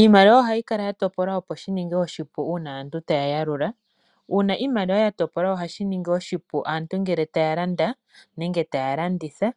Iimaliwa ohayi kala yatopolwa opo dhininge oshipu uuna aantu taya yalula. Uuna iimaliwa yatopolwa ohashi ningi oshipu aantu ngele taya landa nenge taya landitha.